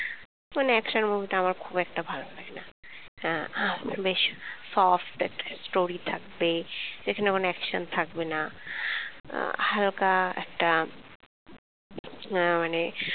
মানে action movie খুব একটা ভালো লাগে না আমার আহ বেশ soft একটা story থাকবে। যেখানে মানে action থাকবে না হালকা একটা আহ মানে